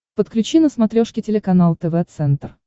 подключи на смотрешке телеканал тв центр